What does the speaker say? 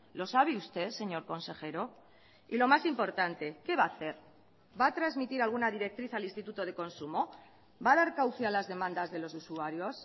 lo sabe usted señor consejero y lo más importante qué va a hacer va a transmitir alguna directriz al instituto de consumo va a dar cauce a las demandas de los usuarios